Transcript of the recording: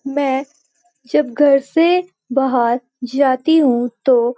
मैं जब घर से बाहर जाती हूँ तो --